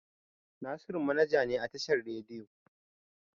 Nasiru manaja ne a tashar rediyo.